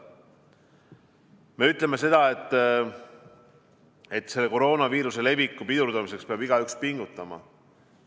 Me ütleme seda, et selle koroonaviiruse leviku pidurdamiseks peab igaüks pingutama.